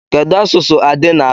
Kedu asụsụ Ade na-asụ?